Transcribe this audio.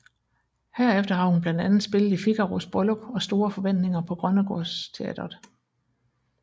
Herefter har hun blandt andet spillet i Figaros Bryllup og Store forventninger på Grønnegårds Teatret